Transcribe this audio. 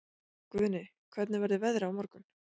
Guðni, hvernig verður veðrið á morgun?